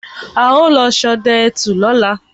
Á ó lọ sodẹ ẹtù lóla